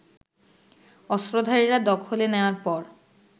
অস্ত্রধারীরা দখলে নেয়ার পর